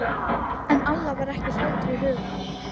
En Alla var ekki hlátur í huga.